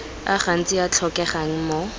a gantsi a tlhokegang mo